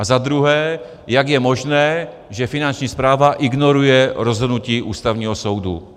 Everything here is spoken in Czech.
A za druhé - jak je možné, že Finanční správa ignoruje rozhodnutí Ústavního soudu.